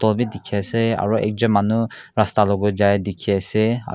wall bhi dikhi ase aru ekjon manu rasta logor jai dikhi ase aru--